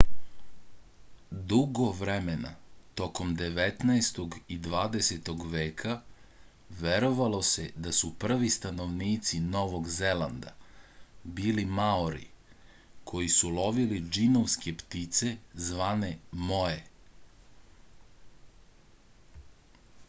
dugo vremena tokom devetnaestog i dvadesetog veka verovalo se da su prvi stanovnici novog zelanda bili maori koji su lovili džinovske ptice zvane moe